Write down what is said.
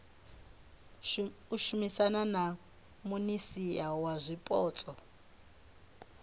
shumisana na minisia wa zwipotso